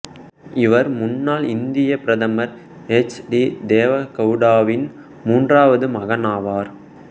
இவர் முன்னாள் இந்தியப் பிரதமர் எச் டி தேவ கவுடாவின் மூன்றாவது மகனாவார்